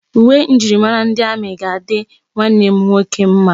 Uwe njirimara ndi amị ga-adị nwanne m nwoke mma.